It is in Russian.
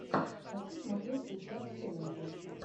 хочу смотреть сейчас челленджи